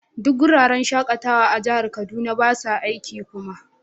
Duk wuraren shakatawa a jihar Kaduna ba su aiki kuma.